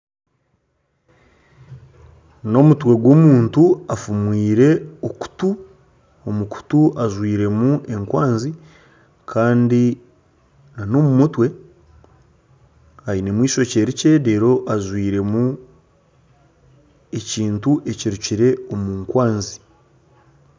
N'omutwe gw'omuntu afumwire okutu omu kutu ajwairemu ekwanzi kandi na n'omu mutwe ainemu eishookye rikye reeru ajwairemu ekintu ekirukire omu nkwanzi.